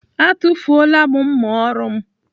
Atụfuola mma ọrụ m.